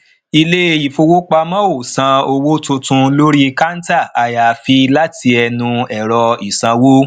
ilé ìfowópamọ ò san owó tuntun lórí kanta ayaafii láti ẹnu ẹrọ isanwo